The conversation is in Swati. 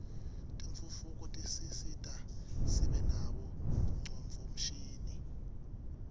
tentfutfuko tisisita sibe nabo ngcondvomshini